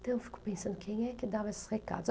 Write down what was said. Então eu fico pensando, quem é que dava esses recados?